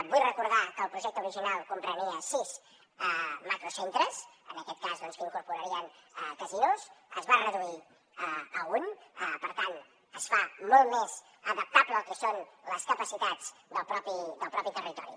vull recordar que el projecte original comprenia sis macrocentres en aquest cas doncs que incorporarien casinos es va reduir a un per tant es fa molt més adaptable al que són les capacitats del mateix territori